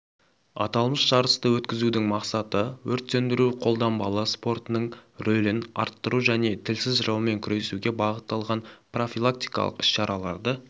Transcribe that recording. аталмыш жарысты өткізудің мақсаты өрт сөндіру-қолданбалы спортының рөлін арттыру және тілсіз жаумен күресуге бағытталған профилактикалық іс-шараларды